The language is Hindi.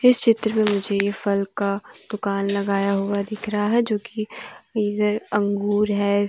इस चित्र में मुझे ये फल का दुकान लगाया हुआ दिख रहा है जो कि इधर अंगूर है।